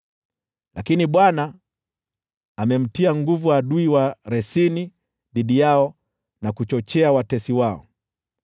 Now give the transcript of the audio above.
Lakini Bwana amemtia nguvu adui wa Resini dhidi yao na kuchochea watesi wao.